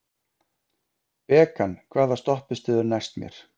Bekan, hvaða stoppistöð er næst mér?